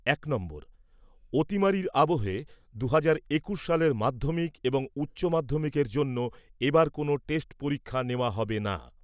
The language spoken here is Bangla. এক নম্বর। অতিমারির আবহে দু'হাজার একুশ সালের মাধ্যমিক এবং উচ্চমাধ্যমিকের জন্য এবার কোনও টেস্ট পরীক্ষা নেওয়া হবে না।